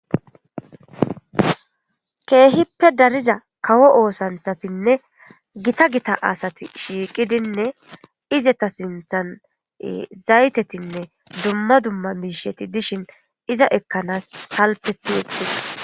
Keehippe dariza kawo oosanthatinne gita gita asati shiiqidinne izeta sinthan zaytetinne dumma dumma miisheti dishin iza ekkanaas salpe piyettida.